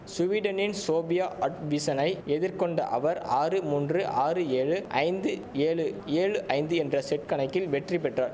சுவீடனின் Sofia அட்விசனை எதிர்கொண்ட அவர் ஆறு மூன்று ஆறு ஏழு ஐந்து ஏழு ஏழு ஐந்து என்ற செட் கணக்கில் வெற்றி பெற்றார்